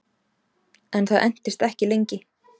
En það entist ekki lengi